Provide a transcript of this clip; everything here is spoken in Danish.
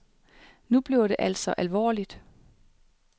Nu bliver det altså alvorligt.